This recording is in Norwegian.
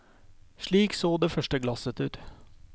Slik så det første glasset ut.